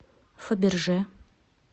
фаберже